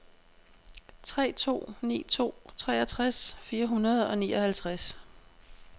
tre to ni to treogtres fire hundrede og nioghalvtreds